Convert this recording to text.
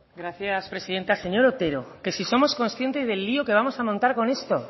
gracias presidenta señor otero que si somos consciente del lío que vamos a montar con esto